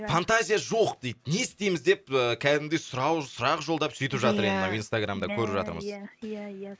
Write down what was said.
фантазия жоқ дейді не істейміз деп ыыы кәдімгідей сұрақ жолдап сөйтіп жатыр енді мына инстаграмда көріп жатырмыз иә иә иә